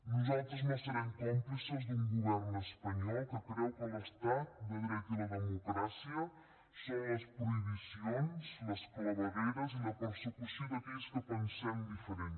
nosaltres no serem còmplices d’un govern espanyol que creu que l’estat de dret i la democràcia són les prohibicions les clavegueres i la persecució d’aquells que pensem diferent